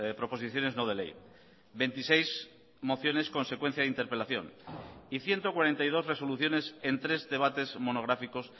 proposiciones no de ley veintiséis mociones consecuencia de interpelación y ciento cuarenta y dos resoluciones en tres debates monográficos